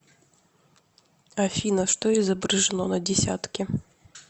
афина что изображено на десятке